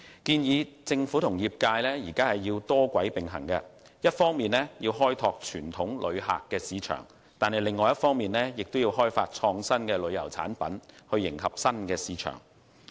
建議政府及業界多軌並行，一方面開拓傳統旅客市場，另一方面也要開發創新旅遊產品迎合新市場。